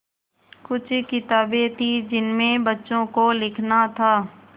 कुछ किताबें थीं जिनमें बच्चों को लिखना था